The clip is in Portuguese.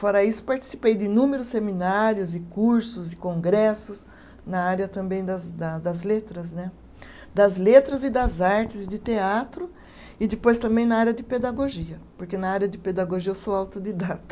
Fora isso, participei de inúmeros seminários e cursos e congressos na área também das da das letras né, das letras e das artes de teatro e depois também na área de pedagogia, porque na área de pedagogia eu sou autodidata.